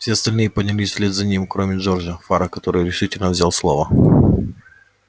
все остальные поднялись вслед за ним кроме джорджа фара который решительно взял слово